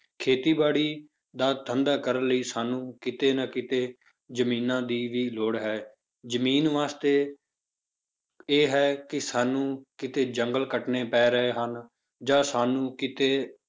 ਖੇਤੀਬਾੜੀ ਦਾ ਧੰਦਾ ਕਰਨ ਲਈ ਸਾਨੂੰ ਕਿਤੇ ਨਾ ਕਿਤੇ ਜ਼ਮੀਨਾਂ ਦੀ ਵੀ ਲੋੜ ਹੈ, ਜ਼ਮੀਨ ਵਾਸਤੇ ਇਹ ਹੈ ਕਿ ਸਾਨੂੰ ਕਿਤੇ ਜੰਗਲ ਕੱਟਣੇ ਪੈ ਰਹੇ ਹਨ, ਜਾਂ ਸਾਨੂੰ ਕਿਤੇ